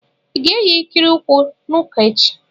Ị ga-eyi ikiri ụkwụ n'ụka echi?